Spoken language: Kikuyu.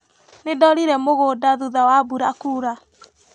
Nĩndorire mũgũnda thutha wa mbura kuura.